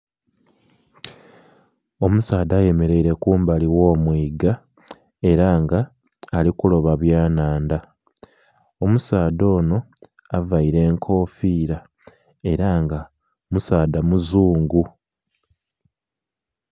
Omusaadha ayemereire kumbali gho mwiga era nga ali kuloba byanhandha. Omusaadha ono avaire enkofira era nga omusaadha muzungu.